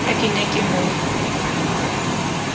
ha ke ne ke mo